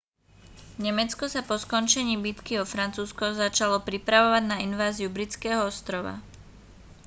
nemecko sa po skončení bitky o francúzsko začalo pripravovať na inváziu britského ostrova